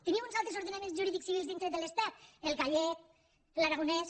tenim uns altres ordenaments jurídics civils dintre de l’estat el gallec l’aragonès